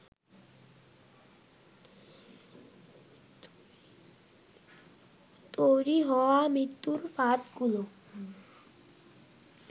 তৈরি হওয়া মৃত্যুর ফাঁদগুলো